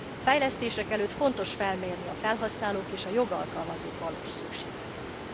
Fejlesztések előtt fontos felmérni a felhasználók és a jogalkalmazók valós szükségleteit.